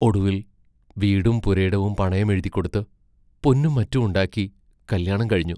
ഒടുവിൽ വീടും പുരയിടവും പണയം എഴുതിക്കൊടുത്ത്, പൊന്നും മറ്റും ഉണ്ടാക്കി കല്യാണം കഴിഞ്ഞു.